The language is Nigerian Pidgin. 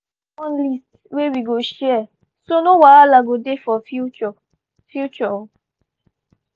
we don make one list wey we go share so no wahala go dey for future. future.